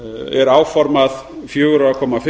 er áformað fjörutíu og fimm